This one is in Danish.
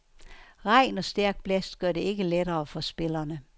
Regn og stærk blæst gør det ikke lettere for spillerne.